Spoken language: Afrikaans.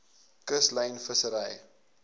kuslyn vissery